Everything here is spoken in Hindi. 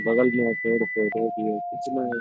बगल में एक पेड़-पौधे भी है --